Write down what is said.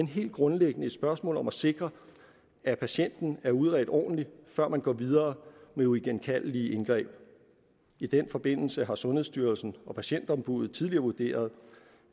helt grundlæggende et spørgsmål om at sikre at patienten er udredt ordentligt før man går videre med uigenkaldelige indgreb i den forbindelse har sundhedsstyrelsen og patientombuddet tidligere vurderet